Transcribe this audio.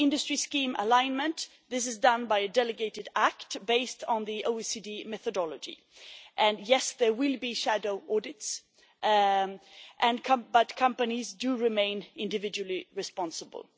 On the industry scheme alignment, this is done by a delegated act based on the OECD methodology, and yes, there will be shadow audits, but companies do remain individually responsible.